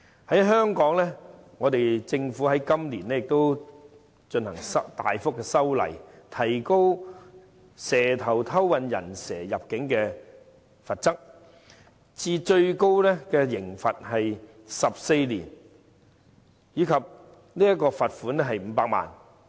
在香港，政府今年亦進行大幅修例，提高"蛇頭"偷運"人蛇"入境的罰則至最高監禁14年及罰款500萬元。